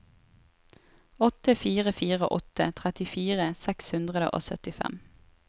åtte fire fire åtte trettifire seks hundre og syttifem